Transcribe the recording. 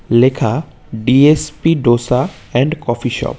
লেখা D S P dosa and coffee shop.